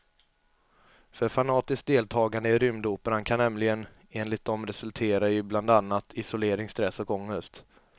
För fanatiskt deltagande i rymdoperan kan nämligen enligt dem resultera i bland annat isolering, stress och ångest.